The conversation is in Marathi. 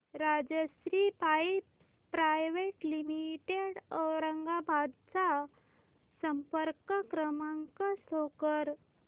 Rajshri pipes private limited Aurangabad चा संपर्क क्रमांक शो कर